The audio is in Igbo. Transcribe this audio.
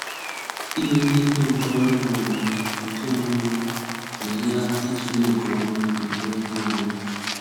Ìme ndekọ nke ọrụ ma ọ bụ nke ọmụma na-enyere aka itule nke ọma ma nwee ihe ọmụma.